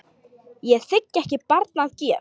Ég þigg ekki barn að gjöf.